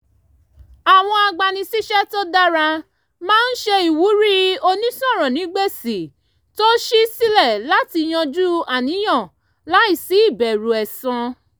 àwọn agbanisíṣẹ́ tó dára máa ń ṣe ìwúrí onísọ̀rọ̀ǹgbèsì tó ṣí sílẹ̀ láti yanjú àníyàn láìsí ìbẹ̀rù ẹ̀san